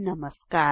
नमस्कार